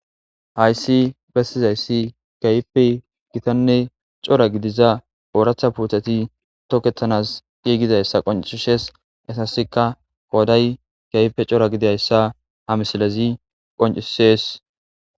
Hayssi bestizayssi kaype gitanne cora gidiza ooratha puuthati toketanas qiigidayssa qoncishes asasika kooday kayipe cora gidayssa ha misilezi qoncisees.